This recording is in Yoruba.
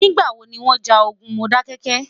nígbà wò ní wón já ogún Modákéké?